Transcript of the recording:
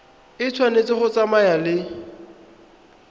e tshwanetse go tsamaya le